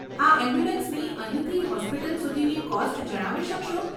આ એમ્બ્યુલન્સની અહીંથી હોસ્પિટલ સુધીની કોસ્ટ જણાવી શકશો?